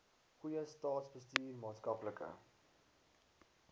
goeie staatsbestuur maatskaplike